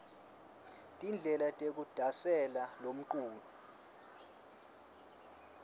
tindlela tekudasela lomcuco